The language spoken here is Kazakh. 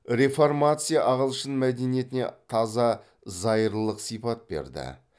реформация ағылшын мәдениетіне таза зайырлық сипат берді